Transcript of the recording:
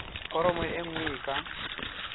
foromo e nngwe e ka